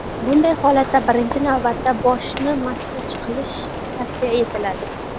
Bunday holatda birinchi navbatda boshni massaj qilish tavsiya etiladi.